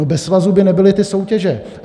No, bez svazů by nebyly ty soutěže.